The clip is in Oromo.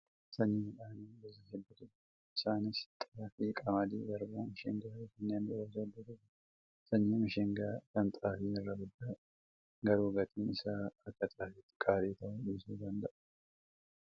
Sanyiin midhaanii gosa hedduutu jira. Isaanis: xaafii, qamadiin, garbuu, mishingaa fi kanneen biroos hedduutu jira. Sanyiin mishingaa kan xaafii irra guddaadha. Garuu gatiin isaa akka xaafiitti qaalii ta'uu dhiisuu danda'a.